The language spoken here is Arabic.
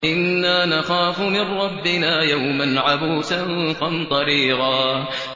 إِنَّا نَخَافُ مِن رَّبِّنَا يَوْمًا عَبُوسًا قَمْطَرِيرًا